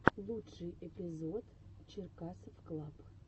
лучший эпизод черкасовклаб